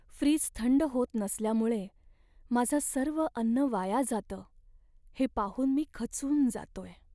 Fridge थंड होत नसल्यामुळे माझं सर्व अन्न वाया जातं हे पाहून मी खचून जातोय.